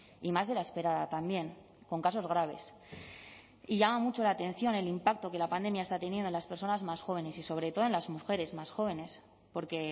y más de la esperada también con casos graves y llama mucho la atención el impacto que la pandemia está teniendo en las personas más jóvenes y sobre todo en las mujeres más jóvenes porque